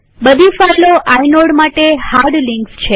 બધી ફાઈલો આઇનોડ માટે હાર્ડ લિંક્સ છે